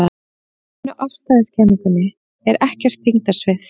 Í almennu afstæðiskenningunni er ekkert þyngdarsvið.